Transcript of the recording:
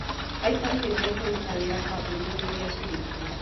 Aikari nĩ makũruta wĩra kambũni-inĩ iria cirakwo